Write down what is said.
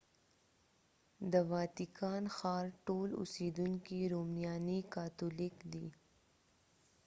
د واتیکان ښار ټول اوسیدونکي رومانیایی کاتولیک دي